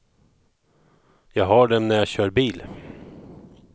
Jag har dem när jag kör bil.